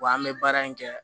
Wa an bɛ baara in kɛ